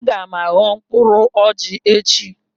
Aga m aghọ mkpụrụ ọjị echi